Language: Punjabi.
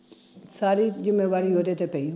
ਸਾਰੀ ਜਿੰਮੇਵਾਰੀ ਓਹਦੇ ਤੇ ਪਈ